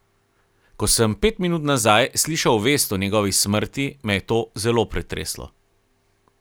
Ko sem pet minut nazaj slišal vest o njegovi smrti, me je to zelo pretreslo.